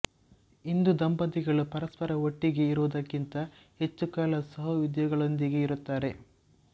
ಇಂದು ದಂಪತಿಗಳು ಪರಸ್ಪರ ಒಟ್ಟಿಗೆ ಇರುವುದಕ್ಕಿಂತ ಹೆಚ್ಚು ಕಾಲ ಸಹೋದ್ಯೋಗಿಗಳೊಂದಿಗೆ ಇರುತ್ತಾರೆ